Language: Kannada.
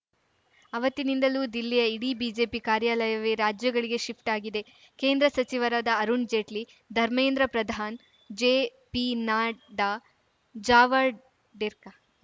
ಆವತ್ತಿನಿಂದಲೂ ದಿಲ್ಲಿಯ ಇಡೀ ಬಿಜೆಪಿ ಕಾರ್ಯಾಲಯವೇ ರಾಜ್ಯಗಳಿಗೆ ಶಿಫ್ಟ್‌ ಆಗಿದೆ ಕೇಂದ್ರ ಸಚಿವರಾದ ಅರುಣ್‌ ಜೇಟ್ಲಿ ಧರ್ಮೇಂದ್ರ ಪ್ರಧಾನ್‌ ಜೆ ಪಿ ನಡ್ಡಾ ಜಾವಡೇರ್ಕಾ